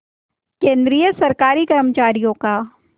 केंद्रीय सरकारी कर्मचारियों का